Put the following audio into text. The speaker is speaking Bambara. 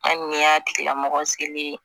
An ye y'a tigila mɔgɔ selen ye